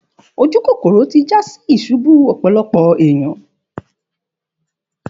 Òjúkókòrò tí jà sí ìsúbù ọ̀pọ̀lọpọ̀ ènìyàn.